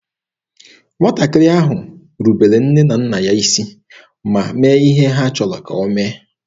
Nwatakịrị ahụ rubere nne na nna ya isi ma mee ihe ha chọrọ ka o mee.